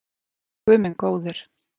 Guð minn góður.